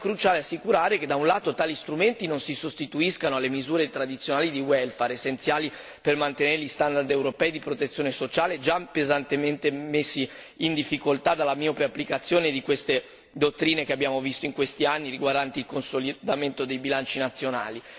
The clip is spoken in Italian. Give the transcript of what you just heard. Rimane cruciale assicurare che, da un lato, tali strumenti non si sostituiscano alle misure tradizionali di welfare, essenziali per mantenere gli standard europei di protezione sociale, già pesantemente messi in difficoltà dalla miope applicazione di queste dottrine che abbiamo visto in questi anni riguardanti il consolidamento dei bilanci nazionali.